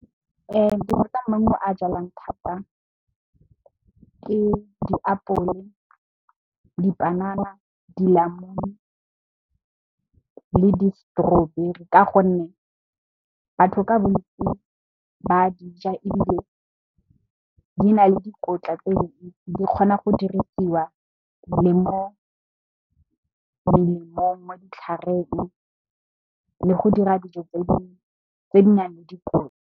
maungo a jalwang thata ke diapole, dipanana, dinamune le di strawberry. Ka gonne, batho ka bontsi ba dija ebile, di na le dikotla tse dintsi di kgona go dirisiwa le mo melemong mo, ditlhareng le go dira dijo tse di nang le dikotla.